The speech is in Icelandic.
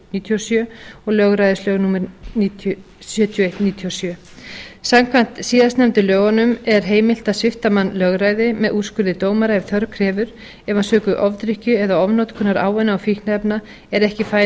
sjö og lögræðislög númer sjötíu og eitt nítján hundruð níutíu og sjö samkvæmt síðastnefndu lögunum er heimilt að svipta mann lögræði með úrskurði dómara ef þörf krefur ef hann sökum ofdrykkju eða ofnotkunar ávana og fíkniefna er ekki fær